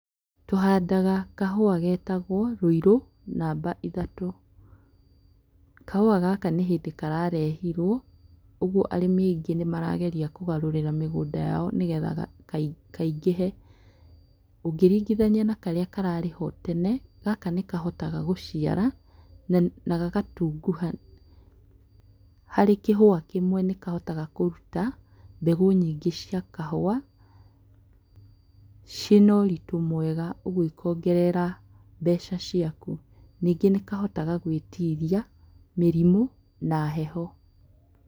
Tũhandaga kahũa getagwo Rũirũ namba ithatũ, kahũa gaka nĩ hĩndĩ kararehirwo ũguo arĩmi aingĩ nĩ marageria kũgarũrĩra mĩgũnda yao nĩ getha kaingĩhe, ũngĩringithania na karĩa karĩ ho tene gaka nĩ kahotaga gũciara na gagatunguha, harĩ kĩhũa kĩmwe nĩ kahotaga kũruta mbegũ nyingĩ cia kahũa, ciĩĩ na ũritũ mwega ũguo ikongerera mbeca ciaku. Ningĩ nĩ kahotaga gwĩtiria mĩrimũ na heho